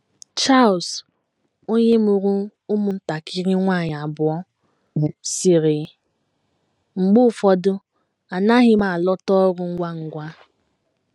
Charles, onye mụrụ ụmụntakịrị nwanyị abụọ, sịrị: “ Mgbe ụfọdụ anaghị m alọta ọrụ ngwa ngwa.